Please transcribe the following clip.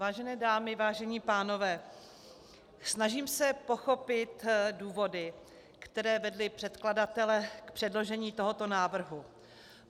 Vážené dámy, vážení pánové, snažím se pochopit důvody, které vedly předkladatele k předložení tohoto návrhu.